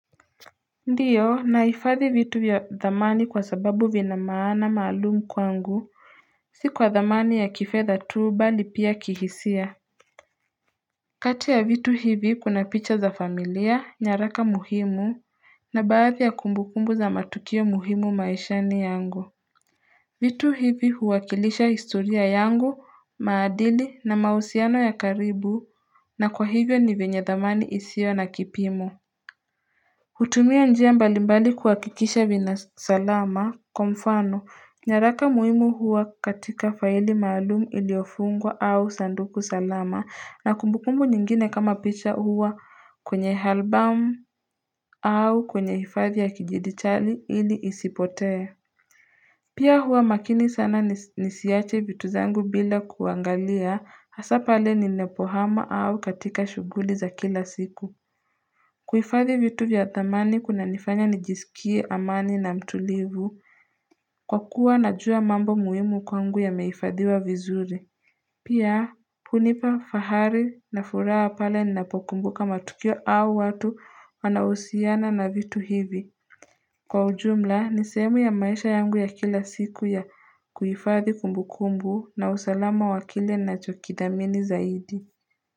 Ndio naifadhi vitu ya dhamani kwa sababu vina maana maalumu kwangu si kwa dhamani ya kifedha tu bali pia kihisia kati ya vitu hivi kuna picha za familia nyaraka muhimu na baadhi ya kumbukumbu za matukio muhimu maishani yangu vitu hivi huwakilisha historia yangu maadili na mahusiano ya karibu na kwa hivyo ni venye dhamani isio na kipimo hutumia njia mbalimbali kuhakikisha vina salama, kwa mfano, nyaraka muhimu hua katika faili maalumu iliofungwa au sanduku salama na kumbukumbu nyingine kama picha hua kwenye albamu au kwenye hifadhi ya kijiditali ili isipotee. Pia hua makini sana nisiache vitu zangu bila kuangalia hasapale ninapohama au katika shughuli za kila siku. Kuhifadhi vitu vya dhamani kuna nifanya nijisikie amani na mtulivu Kwa kuwa najua mambo muhimu kwangu yameifadhiwa vizuri Pia hunipa fahari na furaha pale ninapokumbuka matukio au watu wanaohusiana na vitu hivi Kwa ujumla ni sehemu ya maisha yangu ya kila siku ya kuifadhi kumbukumbu na usalama wakile nacho kidhamini zaidi.